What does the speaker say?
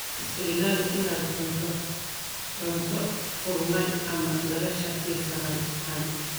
Iska ilaali inaad cuntid cunto qurmay ama laga shakisan yahay.